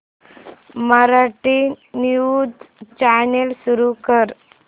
Marathi news channel सुरू कर